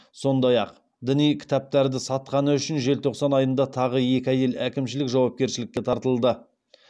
сондай ақ діни кітаптарды сатқаны үшін желтоқсан айында тағы екі әйел әкімшілік жауапкершілікке тартылды